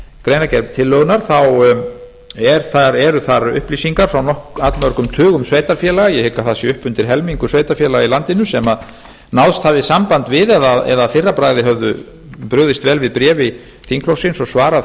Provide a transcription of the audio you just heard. greinargerð tillögunnar þá eru þar upplýsingar frá allmörgum tugum sveitarfélaga ég hygg að það sé upp undir helmingur sveitarfélaga í landinu sem náðst hafði samband við eða að fyrra bragði höfðu brugðist vel við bréfi þingflokksins og svarað